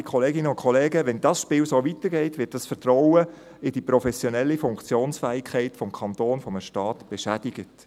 Werte Kolleginnen und Kollegen, wenn dieses Spiel so weitergeht, wird das Vertrauen in die professionelle Funktionsfähigkeit des Kantons, eines Staates beschädigt.